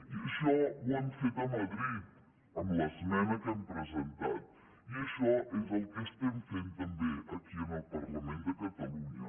i això ho hem fet a madrid amb l’esmena que hem presentat i això és el que estem fent també aquí en el parlament de catalunya